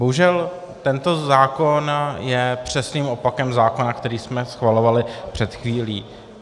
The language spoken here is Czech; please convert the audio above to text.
Bohužel tento zákon je přesným opakem zákona, který jsme schvalovali před chvílí.